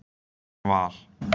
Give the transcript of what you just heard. Val